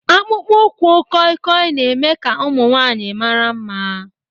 Akpụkpọ ụkwụ kọịkọị na-eme ka ụmụ nwanyị mara mma